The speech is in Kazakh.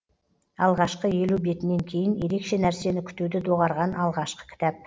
алғашқы елу бетінен кейін ерекше нәрсені күтуді доғарған алғашқы кітап